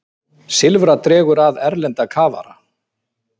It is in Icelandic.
Silfra dregur að erlenda kafara